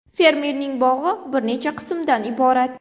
Fermerning bog‘i bir necha qismdan iborat.